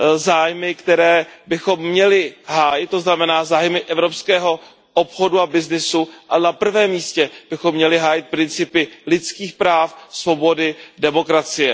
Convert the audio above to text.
zájmy, které bychom měli hájit, to znamená zájmy evropského obchodu a byznysu, a na prvním místě bychom měli hájit principy lidských práv, svobody, demokracie.